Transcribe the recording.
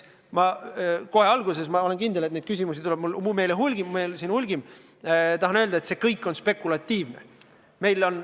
Ma kohe alguses – olen kindel, et neid küsimusi tuleb meil siin hulgim – tahan öelda, et see kõik on spekulatiivne.